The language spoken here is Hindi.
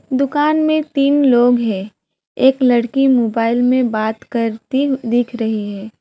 दुकान में तीन लोग हैं एक लड़की मोबाइल में बात करती दिख रही है।